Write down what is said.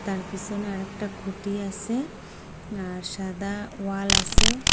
আর পিসনে আরেকটা খুঁটি আসে আর সাদা ওয়াল আসে।